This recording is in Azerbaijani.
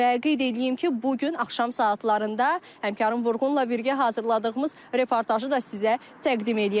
və qeyd eləyim ki, bu gün axşam saatlarında həmkarım Vurğunla birgə hazırladığımız reportajı da sizə təqdim eləyəcəyik.